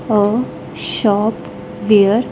A shop where.